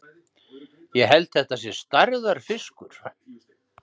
Ég held þetta sé stærðarfiskur!